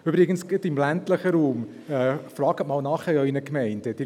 Übrigens, gerade im ländlichen Raum: Fragen Sie in Ihren Gemeinden mal nach.